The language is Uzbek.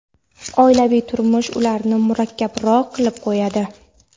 oilaviy turmush ularni murakkabroq qilib qo‘yadi.